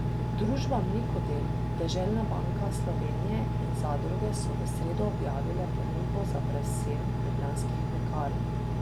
Družba Mlekodel, Deželna banka Slovenije in zadruge so v sredo objavile ponudbo za prevzem Ljubljanskih mlekarn.